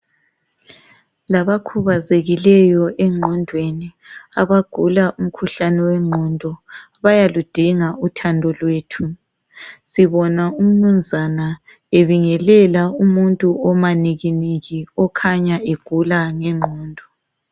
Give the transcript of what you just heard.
Labakhubazekileyo engqondweni, abagula umkhuhlane wengqondo. Bayaludinga uthando lwethu. Sibona uMnumzana ebingelela umuntu omanikiniki. Okhanya egula ngengqondo.